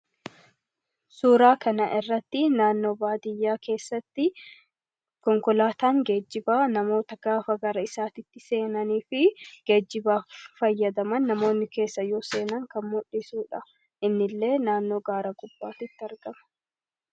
Suuraa kana irratti naannoo baadiyaa keessatti konkolaataan geejibaa namoota gaafa gara isaatti seenanii fi geejibaa fayyadaman yeroo keessa seenan kan muldhisudha. Konkolaatichis naannoo gaara gubbaatti argama.